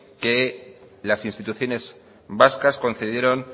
que las instituciones vascas concedieron